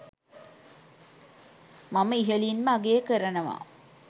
මම ඉහලින්ම අගය කරනවා